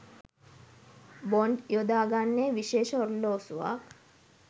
Bond යොදාගන්නේ විශේෂ ඔරලෝසුවක්.